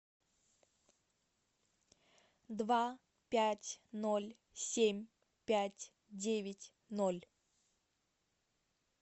два пять ноль семь пять девять ноль